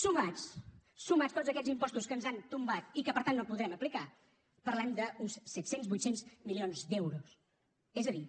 sumats sumats tots aquests impostos que ens han tombat i que per tant no podrem aplicar parlem d’uns set cents vuit cents milions d’euros és a dir